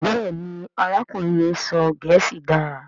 Béèni arákùnrin yén sọ gèésì dá.